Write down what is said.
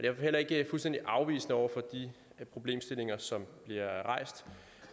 er vi heller ikke fuldstændig afvisende over for de problemstillinger som bliver rejst